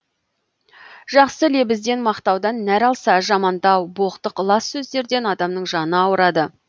жақсы лебізден мақтаудан нәр алса жамандау боқтық лас сөздерден адамның жаны ауырады